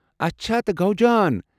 اچھا، تہِ گوٚو جان۔